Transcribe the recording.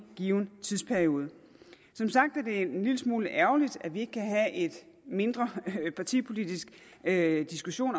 given tidsperiode som sagt er det en lille smule ærgerligt at vi ikke kan have en mindre partipolitisk diskussion